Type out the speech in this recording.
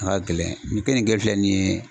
A ka gɛlɛn nin keninke filɛ nin ye